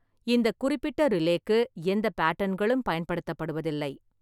இந்த குறிப்பிட்ட ரிலே-க்கு எந்தப் பாட்டன்களும் பயன்படுத்தப்படுவதில்லை.